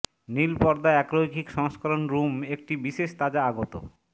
নীল পর্দা একরৈখিক সংস্করণ রুম একটি বিশেষ তাজা আগত